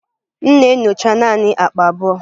M na-enyocha naanị akpa abụọ.